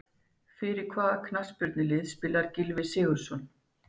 Fyrir hvaða knattspyrnulið spilar Gylfi Sigurðsson?